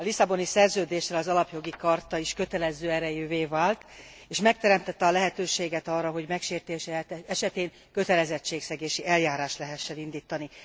A Lisszaboni Szerződéssel az Alapjogi Charta is kötelező erejűvé vált, és megteremtette a lehetőséget arra, hogy megsértése esetén kötelezettségszegési eljárást lehessen indítani.